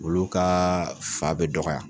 Olu ka fa bɛ dɔgɔya.